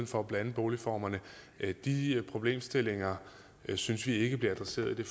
for at blande boligformerne de problemstillinger synes vi ikke bliver adresseret i